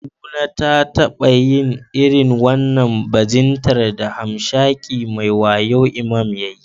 Kaduna ta taba yin irin wannan bajintar da hamshakin mai wayo Imam ya yi.